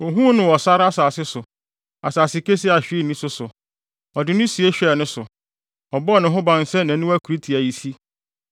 Ohuu no wɔ sare asase so, asase kesee a hwee nni so so. Ɔde no sie hwɛɛ ne so; ɔbɔɔ ne ho ban sɛ nʼaniwa kurutiayisi,